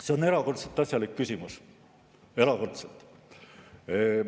See on erakordselt asjalik küsimus, erakordselt.